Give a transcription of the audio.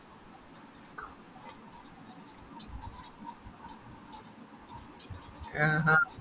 ഏർ അഹ്